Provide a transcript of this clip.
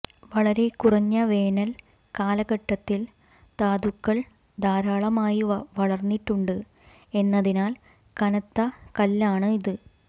വളരെ കുറഞ്ഞ വേനൽ കാലഘട്ടത്തിൽ ധാതുക്കൾ ധാരാളമായി വളർന്നിട്ടുണ്ട് എന്നതിനാൽ കനത്ത കല്ലാണ് ഇത്